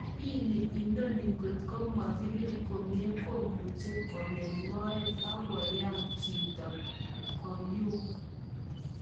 Jibini inano kotko makirip komye komuche kogem moet ak koyan jito koyuuk